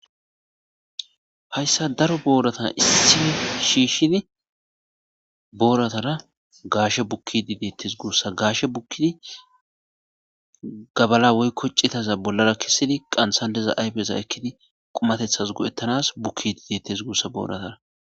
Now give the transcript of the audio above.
Haysan daro borata issipe shishidi boratara gashe bukidi detes gusa gashe bukidi gabala woyko c'itaza bolara kesidi qantan diza ayfeza ekidi qumatetas go'etanas bukidi detes gusako.